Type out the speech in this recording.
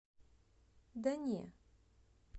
да не